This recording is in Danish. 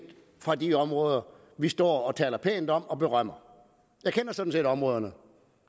fra de områder vi står og taler pænt om og berømmer jeg kender sådan set områderne